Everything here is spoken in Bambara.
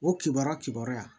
O kibaruya kibaruya